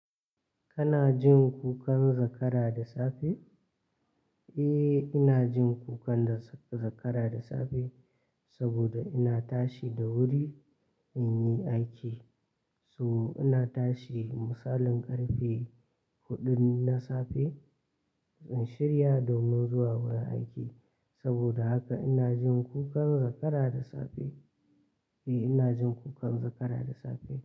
Kana jin kukan zakara da safe? Eh, ina jin kukan zakara da safe saboda ina tashi da wuri in yi aiki. To, ina tashi misalin ƙarfe huɗun na safe in shirya domin zuwa wurin aiki. Saboda haka ina jin kukan zakara da safe. Eh, ina jin kukan zakara da safe.